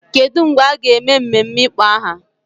Kedu mgbe a ga-eme mmemme ịkpọ aha?